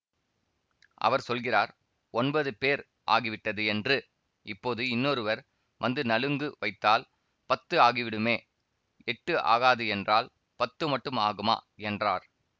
அவர் சொல்கிறார் ஒன்பது பேர் ஆகிவிட்டது என்று இப்போது இன்னொருவர் வந்து நலுங்கு வைத்தால் பத்து ஆகிவிடுமே எட்டு ஆகாது என்றால் பத்து மட்டும் ஆகுமா என்றார்